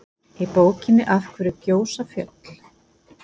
í bókinni af hverju gjósa fjöll